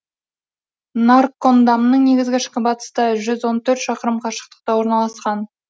наркондамның негізгі шыңы батыста жүз он төрт шақырым қашықтықта орналасқан